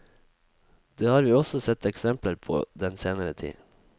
Det har vi også sett eksempler på den senere tid.